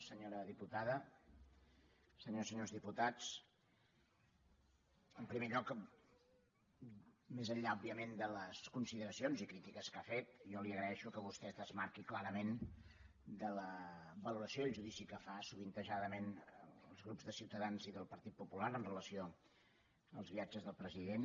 senyora diputada senyores i senyors diputats en primer lloc més enllà òbviament de les consideracions i crítiques que ha fet jo li agraeixo que vostè es desmarqui clarament de la valoració i el judici que fan sovint els grups de ciutadans i del partit popular amb relació als viatges del president